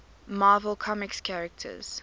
marvel comics characters